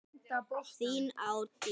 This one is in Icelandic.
Þín Árdís.